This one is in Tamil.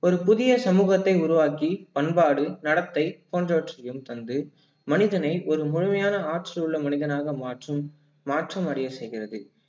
ஒரு புதிய சமூகத்தை உருவாக்கி பண்பாடு, நடத்தை போன்றவற்றையும் தந்து மனிதனை ஒரு முழுமையான ஆற்றல் உள்ள மனிதனாக மாற்றும் மாற்றம் அடைய செய்கிறது